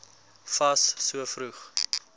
fas so vroeg